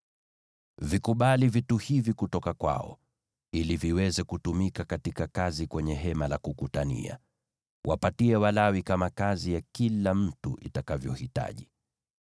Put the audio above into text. “Vikubali vitu hivi kutoka kwao, ili viweze kutumika katika kazi kwenye Hema la Kukutania. Wapatie Walawi kama kazi ya kila mtu itakavyohitaji.”